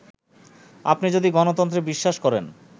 আপনি যদি গণতন্ত্রে বিশ্বাস করেন